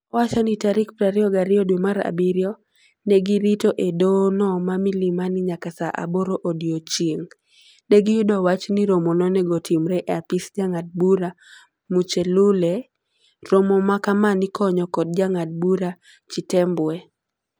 Owacho ni tarik 22 dwe mar abirio ne girito e doho no ma milimani nyaka saa aboro odiochieng. Negiyudo wach niromo nonego otimre e apis jangad bura Muchelule. Romo makama nikonyo kod jangad bura Chitembwe.